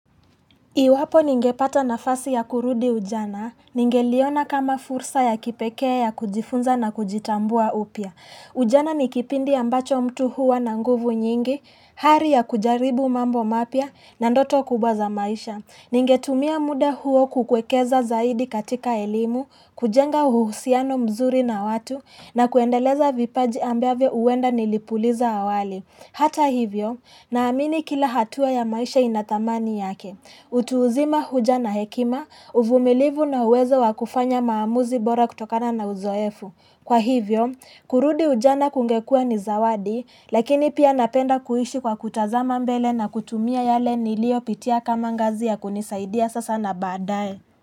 Iwapo ningepata nafasi ya kurudi ujana, ningeliona kama fursa ya kipekee ya kujifunza na kujitambua upya. Ujana ni kipindi ambacho mtu huwa na nguvu nyingi, hari ya kujaribu mambo mapya, na ndoto kubwa za maisha. Ningetumia muda huo kukwekeza zaidi katika elimu, kujenga uhusiano mzuri na watu, na kuendeleza vipaji ambavyo huenda nilipuliza awali. Hata hivyo, naamini kila hatua ya maisha ina thamani yake. Utu uzima huja na hekima, uvumilivu na uwezo wa kufanya maamuzi bora kutokana na uzoefu Kwa hivyo, kurudi ujana kungekuwa ni zawadi lakini pia napenda kuishi kwa kutazama mbele na kutumia yale niliyopitia kama ngazi ya kunisaidia sasa na baadae.